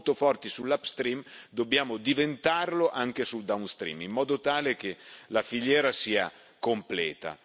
Siamo molto forti sull' upstream dobbiamo diventarlo anche sul downstream in modo tale che la filiera sia completa.